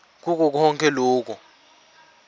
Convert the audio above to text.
kuko konkhe loku